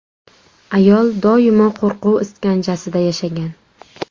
Ayol doimo qo‘rquv iskanjasida yashagan.